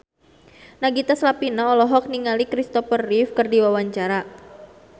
Nagita Slavina olohok ningali Christopher Reeve keur diwawancara